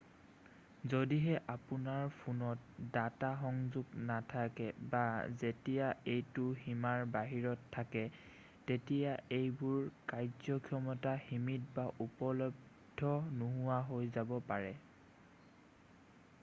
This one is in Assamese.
যদিহে আপোনাৰ ফোনত ডাটা সংযোগ নাথাকে বা যেতিয়া এইটো সীমাৰ বাহিৰত থাকে তেতিয়া এইবোৰৰ কাৰ্যক্ষমতা সীমিত বা উপলদ্ধ নোহোৱা হৈ যাব পাৰে